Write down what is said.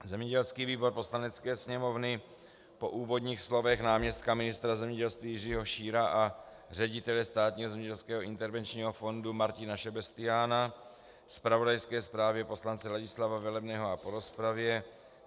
Zemědělský výbor Poslanecké sněmovny po úvodních slovech náměstka ministra zemědělství Jiřího Šíra a ředitele Státního zemědělského intervenčního fondu Martina Šebestiána, zpravodajské zprávě poslance Ladislava Velebného a po rozpravě